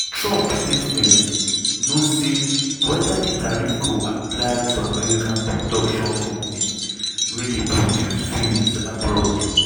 trump statement no say weda di tariff go apply to american production companies wey dey produce films abroad.